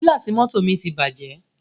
Gílàsì mọ́tọ̀ mi ti bàjẹ́.